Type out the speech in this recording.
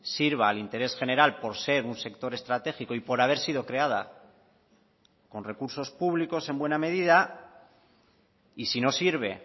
sirva al interés general por ser un sector estratégico y por haber sido creada con recursos públicos en buena medida y si no sirve